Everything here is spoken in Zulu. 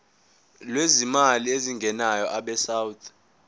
lwezimali ezingenayo abesouth